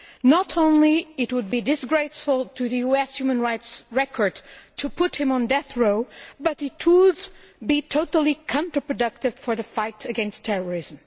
Not only would it be a disgrace to the US human rights record to put him on death row, but it could be totally counterproductive in the fight against terrorism.